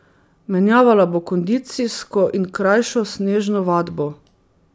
Menjavala bo kondicijsko in krajšo snežno vadbo.